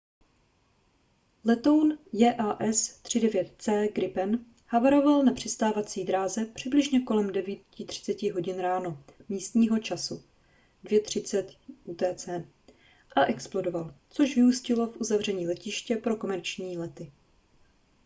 letoun jas 39c gripen havaroval na přistávací dráze přibližně kolem 9:30 h ráno místního času 02:30 utc a explodoval což vyústilo v uzavření letiště pro komerční lety